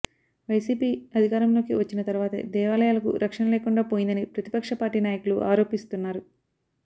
YCP అధికారంలోకి వచ్చిన తర్వాతే దేవాలయాలకు రక్షణ లేకుండా పోయిందని ప్రతిపక్ష పార్టీ నాయకులు ఆరోపిస్తున్నారు